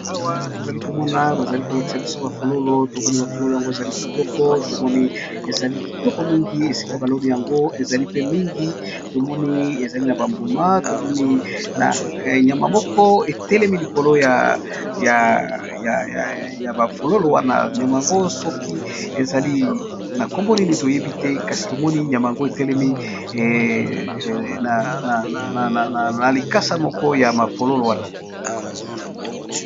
awa tozali komona bazali kolakisa biso ba fololo tomoni mafololo yango ezali kitoko tomoni ezali kitoko mingi esika baloni yango ezali pe mingi tomoni ezali na bambuma tomoni nyama moko etelemi likolo ya ba fololo wana nyama yango soki ezali na kombo nini toyebi te kasi tomoni nyama yango etelemi na likasa moko ya ma fololo wana